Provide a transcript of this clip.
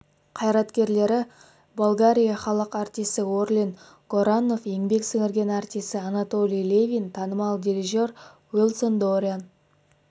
қайраткерлері болгарии халық артисі орлин горанов еңбек сіңірген артисі анатолий левин танымал дирижер уилсон дориан